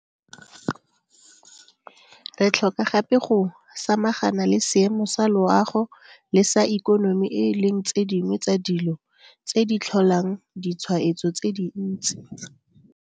Re tlhoka gape go samagana le seemo sa loago le sa ikonomi e leng tse dingwe tsa dilo tse di tlholang ditshwaetso tse dintsi.